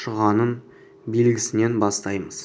шұғаның белгісінен бастаймыз